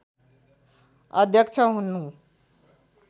अध्यक्ष हुनु